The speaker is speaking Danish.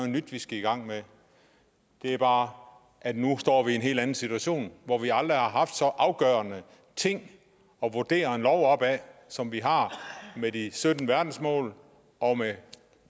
nyt vi skal i gang med det er bare at nu står vi i en helt anden situation hvor vi aldrig har haft så afgørende ting at vurdere en lov op ad som vi har med de sytten verdensmål og med